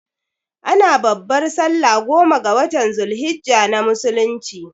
Ana babbar sallah goma ga watan zul hijjah na musulunci